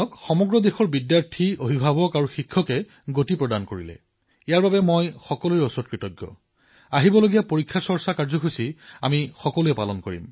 এই অভিযানক সমগ্ৰ দেশৰ বিদ্যাৰ্থীয়ে অভিভাৱকে আৰু শিক্ষকসকলে গতি প্ৰদান কৰাৰ বাবে মই তেওঁলোকৰ ওচৰত কৃতজ্ঞ আৰু আগন্তুক পৰীক্ষাৰ চৰ্চা কাৰ্যসূচী আমি সকলোৱে মিলি জুলি পালন কৰো আপোনালোক সকলোলৈ নিমন্ত্ৰণ থাকিল